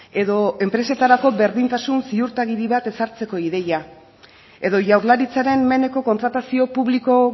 edo enpresetarako berdintasun ziurtagiri bat ezartzeko ideia edo jaurlaritzaren meneko kontratazio publiko